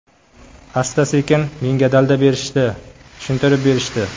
Asta-sekin menga dalda berishdi, tushuntirib berishdi.